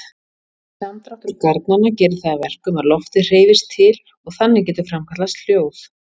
Samdráttur garnanna gerir það að verkum að loftið hreyfist til og þannig getur framkallast hljóð.